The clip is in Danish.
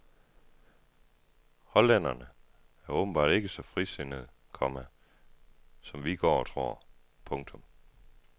Hollænderne er åbenbart ikke så frisindede, komma som vi går og tror. punktum